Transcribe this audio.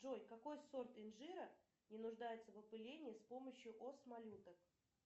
джой какой сорт инжира не нуждается в опылении с помощью ос малюток